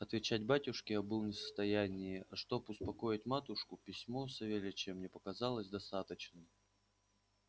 отвечать батюшке я был не в состоянии а чтоб успокоить матушку письмо савельича мне показалось достаточным